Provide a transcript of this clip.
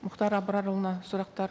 мұхтар абрарұлына сұрақтар